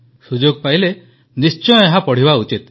ସୁଯୋଗ ପାଇଲେ ନିଶ୍ଚୟ ଏହା ପଢ଼ିବା ଉଚିତ